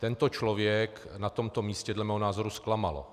Tento člověk na tomto místě dle mého názoru zklamal.